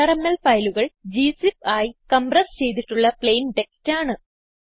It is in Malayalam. വിആർഎംഎൽ ഫയലുകൾ ഗ്സിപ്പ് ആയി കംപ്രസ് ചെയ്തിട്ടുള്ള പ്ലെയിൻ ടെക്സ്റ്റ് ആണ്